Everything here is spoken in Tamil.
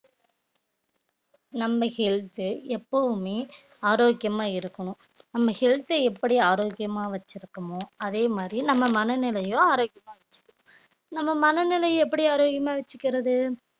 நம்ம health உ எப்பவுமே ஆரோக்கியமா இருக்கணும் நம்ம health அ எப்படி ஆரோக்கியமா வச்சிருக்கோமோ அதே மாதிரி நம்ம மனநிலையும் ஆரோக்கியமா வச்சிருக்கு நம்ம மனநிலையை எப்படி ஆரோக்கியமா வச்சுக்கிறது